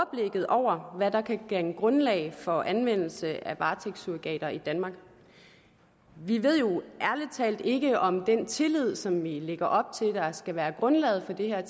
over hvad der kan danne grundlag for anvendelse af varetægtssurrogater i danmark vi ved jo ærlig talt ikke om den tillid i som vi lægger op til der skal være grundlaget for det her